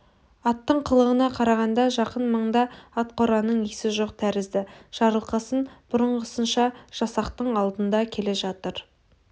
аттың қылығына қарағанда жақын маңда атқораның иесі жоқ тәрізді жарылқасын бұрынғысынша жасақтың алдында келе жатыр